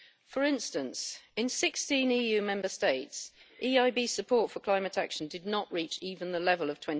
For instance, in 16 EU Member States, EIB support for climate action did not reach even the level of